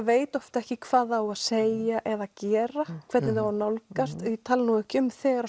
veit oft ekki hvað það á að segja eða gera hvernig á að nálgast ég tala nú ekki um þegar